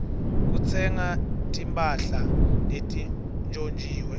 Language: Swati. kutsenga timphahla letintjontjiwe